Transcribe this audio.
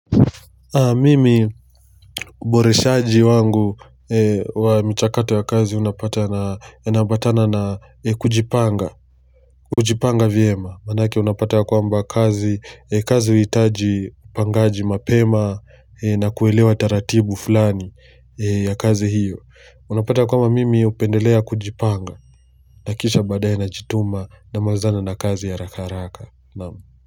Mimi uboreshaji wangu wa michakato ya kazi unapatana yanaambatana na kujipanga, kujipanga vyema, manake unapata ya kwamba kazi, kazi huhitaji upangaji mapema na kuelewa taratibu fulani ya kazi hiyo. Unapata ya kwamba mimi hupendelea kujipanga, na kisha baadae na jituma namalizana na kazi ya harakaharaka.